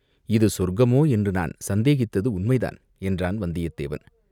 இது சொர்க்கமோ என்று நான் சந்தேகித்தது உண்மைதான்!" என்றான் வந்தியத்தேவன்.